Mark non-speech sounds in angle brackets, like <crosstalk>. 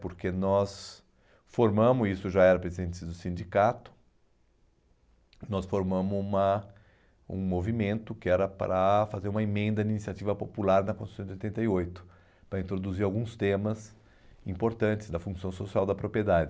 Porque nós formamos, isso já era <unintelligible> do sindicato, nós formamos uma um movimento que era para fazer uma emenda à iniciativa popular da Constituição de oitenta e oito, para introduzir alguns temas importantes da função social da propriedade.